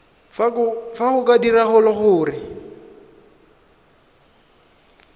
fa go ka diragala gore